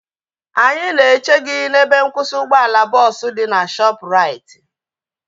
Anyị na eche gị n'ebe nkwụsị ụgbọala bọọsu dị na Shoopu raiti